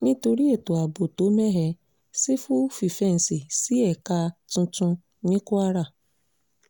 nítorí ètò ààbò tó mẹ́hẹ sífọ́ fífẹ́ǹsì sí ẹ̀ka tuntun ní kwara